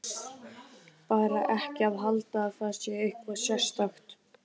Bara ekki halda að það sé eitthvað sérstakt.